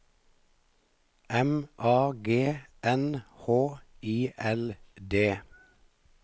M A G N H I L D